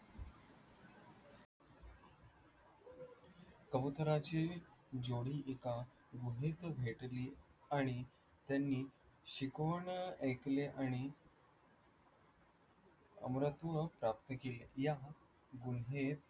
कबूतराची जोडी एका गुहेत भेटली आणि त्यांनी शिकवून ऐकले आणि आमरत्न प्राप्त केली. या गुहेत